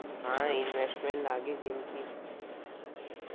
હા ઇન્વેસ્ટમેન્ટ લાગે જેમકી